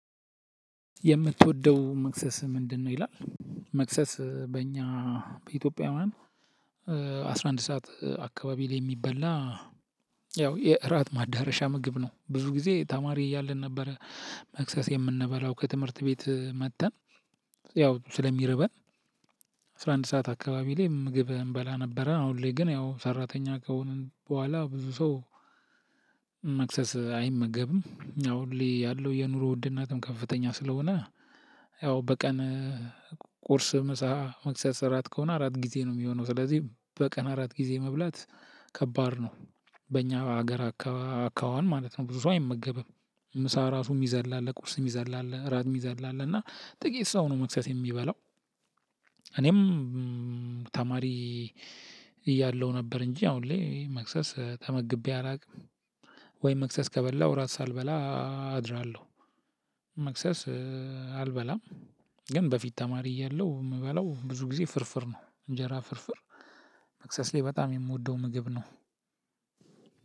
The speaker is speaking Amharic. የምትወደው መክሰስ ምንድነው? ይላል መክሰስ በእኛ በኢትዮጵያን አስራ አንድ ሰዓት አካባቢ ላይ የሚበላ ያው የእራት ማዳረሻ ምግብ ነው። ብዙ ጊዜ ተማሪ እያለን ነበረ መክሰስ የምንበላው ከትምህርት ቤት መጥተን ያው ስለሚርበን አስራ አንድ ሰዓት አካባቢ ላይ ምግብ እንበላ ነበረ። አሁን ላይ ግን ያው ሰራተኛ ከሆንን በኋላ ብዙ ሰው መክሰስ አይመገብም። ያው ሁሌ ያለው የኑሮ ዉድነትም ከፍተኛ ስለሆነ ያው በቀን ቁርስ፣ ምሳ፣ መክሰስ፣ እራት ከሆነ አራት ጊዜ ነው የሚሆነው። ስለዚህ በቀን አራት ጊዜ መብላት ከባድ ነው። በእኛ ሀገር አካኋን ማለት ነው ብዙ ሰው አይመገብም ምሳ ራሱ የሚዘል አለ፤ ቁስ የሚዘል አለ፤ ራት የሚዘል አለ እና ጥቂት ሰው ነው መክሰስ የሚበላው እኔም ተማሪ እያለው ነበር እንጂ አሁን ላይ መክሰስ ተመግቤ አላውቅም ወይም መክሰስ ከበላሁ ራት ሳልበላ አድራለሁ። መክሰስ አልበላም። ግን በፊት ተማሪ እያለሁ የምበለው ብዙ ጊዜ ፍርፍር ነው እንጀራ ፍርፍር መክሰስ ላይ በጣም የምወደው ምግብ ነው።